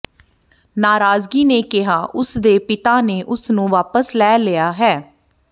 ਨਾਰਾਜ਼ਗੀ ਨੇ ਕਿਹਾ ਕਿ ਉਸ ਦੇ ਪਿਤਾ ਨੇ ਉਸ ਨੂੰ ਵਾਪਸ ਲੈ ਲਿਆ ਹੈ